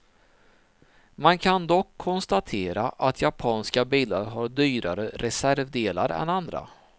Man kan dock konstatera att japanska bilar har dyrare reservdelar än andra.